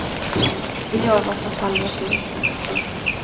Vi gör vad som faller oss in. punkt